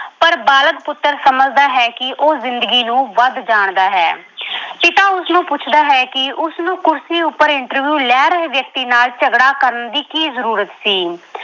ਪਰ ਬਾਲਗ ਪੁੱਤਰ ਸਮਝਦਾ ਹੈ ਕਿ ਉਹ ਜ਼ਿੰਦਗੀ ਨੂੰ ਵੱਧ ਜਾਣਦਾ ਹੈ ਪਿਤਾ ਉਸਨੂੰ ਪੁੱਛਦਾ ਹੈ ਕਿ ਉਸਨੂੰ ਕੁਰਸੀ ਉੱਪਰ interview ਲੈ ਰਹੇ ਵਿਅਕਤੀ ਨਾਲ ਝਗੜਾ ਕਰਨ ਦੀ ਕੀ ਜ਼ਰੂਰਤ ਸੀ।